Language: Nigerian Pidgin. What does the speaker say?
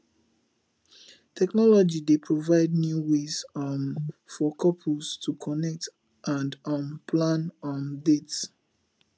technology dey provide new ways um for couples to connect and um plan um dates